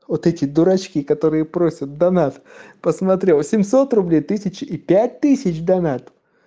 вот эти дурочки которые просят донат посмотрел восемьсот рублей тысяча и пять тысяч донат